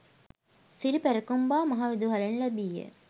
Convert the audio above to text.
සිරි පැරකුම්බා මහ විදුහලෙන් ලැබීය.